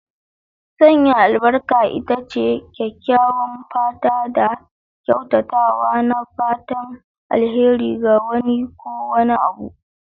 Sanya albarka ita ce kyakkyawan fata da kyautatawa na fatan alheri ga wani ko wani abu.